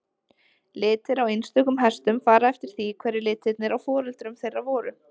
Litir á einstökum hestum fara eftir því hverjir litirnir á foreldrum þeirra voru.